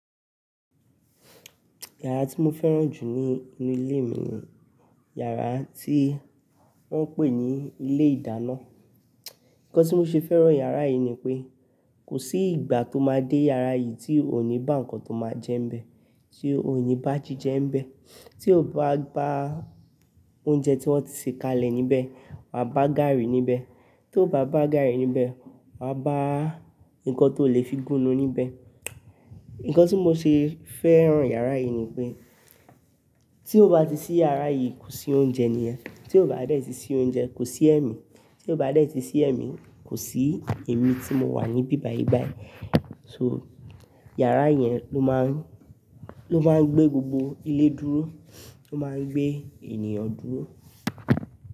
Iyàrá tí mo fẹ́ràn jù ní inú ilé mi ni iyàrá tí wọ́n ń pè ní ilé ìdáná. Ǹkan tí mo ṣe fẹ́ràn iyàrá yìí ni pé kò sí ìgbà tó máa dé iyàrá yìí tí ò ní bá ǹkan tó máa jẹ́ ń bẹ, tí ò ní bá jíjẹ ń bẹ, tí ò bá ba oúnjẹ tí wọ́n ti ṣe kalẹ̀ níbẹ̀, wáa bá gààrí níbẹ̀, tó bá bá gààrí níbẹ̀, wàá bá ǹkan tó lè fi gúnu níbẹ̀. Ǹkan tí mo ṣe fẹ́ràn iyàrá yìí ni pé tí o bá ti ṣí iyàrá yìí kò sí oúnjẹ ní yẹ̀, tí o bá dẹ̀ tí ṣí oúnjẹ kò sí ẹ̀mí, tí o bá dẹ̀ tí ṣí ẹ̀mí, kò sí èmi tí mo wà níbí báyìí báyìí. So iyàrá yẹn ló máa ń, ló máa ń gbé gbogbo ilé dúró, ó máa ń gbé ènìyàn dúró.